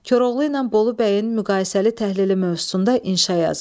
Koroğlu ilə Bolu bəyin müqayisəli təhlili mövzusunda inşa yazın.